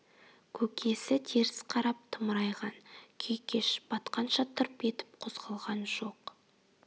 көкесі теріс қарап тымырайған күй кеш батқанша тырп етіп қозғалған жоқ